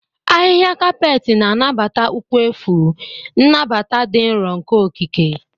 Ahịhịa kapeeti na-anabata ụkwụ efu, nnabata dị nro nke okike.